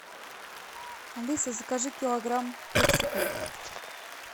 алиса закажи килограмм персиков